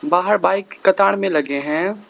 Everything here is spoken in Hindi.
बाहर बाइक कतार में लगे हैं।